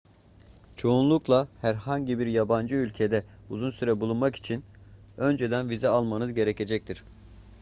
çoğunlukla herhangi bir yabancı ülkede uzun süre bulunmak için önceden vize almanız gerekecektir